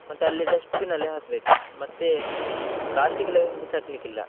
ಮತ್ತೆ ಅಲ್ಲೇ dustbin ಅಲ್ಲಿ ಹಾಕ್ಬೇಕು. Plastic ಎಲ್ಲ ಬಿಸಾಕ್ಲಿಕ್ಕಿಲ್ಲ.